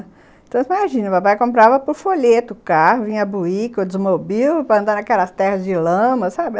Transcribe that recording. Então, imagina, o papai comprava por folheto o carro, vinha buíca ou desmobil, para andar naquelas terras de lama, sabe?